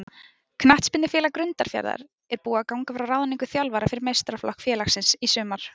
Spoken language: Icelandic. Knattspyrnufélag Grundarfjarðar er búið að ganga frá ráðningu þjálfara fyrir meistaraflokk félagsins í sumar.